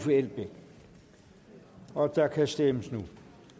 og der kan stemmes nu